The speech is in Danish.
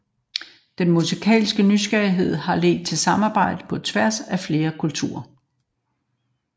Den musikalske nysgerrighed har ledt til samarbejder på tværs af flere kulturer